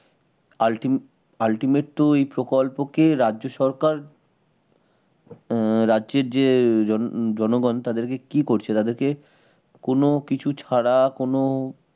ultimate ultimate এই প্রকল্পকে রাজ্য সরকার অ্যাঁ রাজ্যের যে জন জনগণ তাদেরকে কি করছে তাদেরকে কোন কিছু ছাড়া কোন